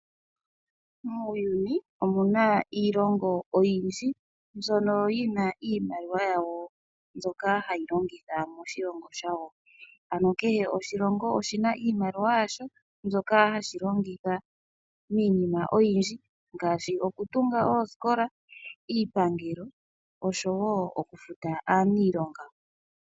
Muuyuni omuna iilongo oyindji ndjono yina iimaliwa yawo zoka hayilongithwa moshilongo shawo, ano kehe oshilongo oshina iimaliwa yasho ndjoka hashilongitha iinima oyindji ngaashi okutunga oosikola, iipangelo oshowo okufuta aaniilonga.